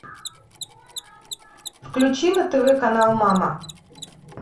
включи на тв канал мама